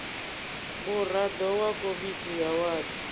muraḓo wa komiti ya wadi